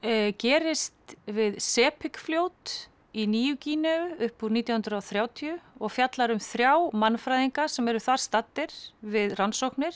gerist við fljót í nýju Gíneu upp úr nítján hundruð og þrjátíu og fjallar um þrjá mannfræðinga sem eru þar staddir við rannsóknir